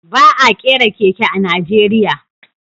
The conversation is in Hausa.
Ba a kera keke a Najeriya